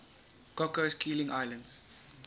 cocos keeling islands